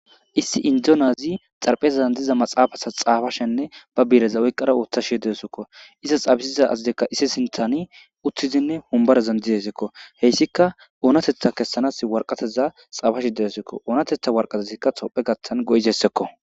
Issi indonyazi xarphezazan diza maxaafasa xaafashenne ba biireza oyqqara ooththa she deesekko izas xaabisiza azadekka issi sinthani uththizinne humbarazan didesekko heyssika oonatetha kessanas warqateza xaafashe deesekko oonatetha warqatezikka tophe gattan go'izessekko.